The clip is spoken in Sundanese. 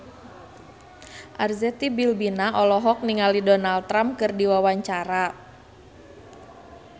Arzetti Bilbina olohok ningali Donald Trump keur diwawancara